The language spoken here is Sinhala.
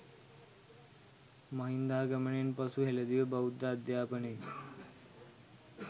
මහින්දාගමනයෙන් පසු හෙළදිව බෞද්ධ අධ්‍යාපනයේ